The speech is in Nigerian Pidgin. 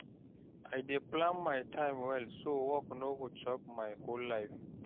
I dey plan my time well so work no go chop my whole life.